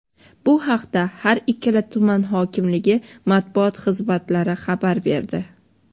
Bu haqda har ikkala tuman hokimligi Matbuot xizmatlari xabar berdi.